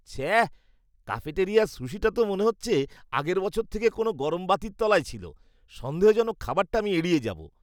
ছ্যাঃ! ক্যাফেটেরিয়ার সুশিটা তো মনে হচ্ছে আগের বছর থেকে কোনও গরম বাতির তলায় ছিল। সন্দেহজনক খাবারটা আমি এড়িয়ে যাবো।